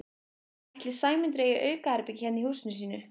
Ætli Sæmundur eigi aukaherbergi hérna í húsinu sínu?